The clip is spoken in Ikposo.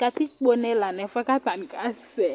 katikpone la nu ɛfuɛ k'atani ka sɛ̃